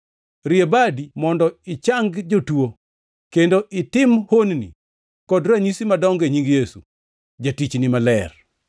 Rie badi mondo ichangi jotuo kendo itim honni kod ranyisi madongo e nying Yesu, Jatichni Maler.”